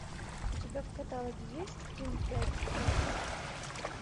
у тебя в каталоге есть ким пять с плюсом